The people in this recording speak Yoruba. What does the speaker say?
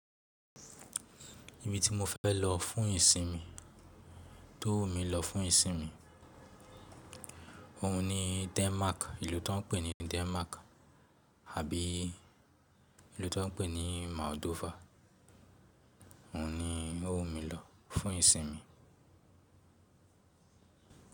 Ibi tí mo fẹ́ lọ fún ìsinmi, tó wù mí lọ fún ìsinmi, òun ni Denmark, ìlú tó ń pè ní Denmark, àbí ìlú tó ń pè ní Moldova. Òun ni ó wù mí lọ fún ìsinmi.